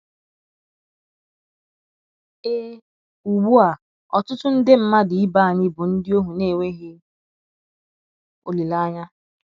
Ee, ugbu a, ọtụtụ nde mmadụ ibe anyị bụ ndị ohu na - enweghị olileanya.